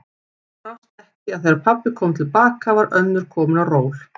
Brást ekki að þegar pabbi kom til baka var önnur komin á ról.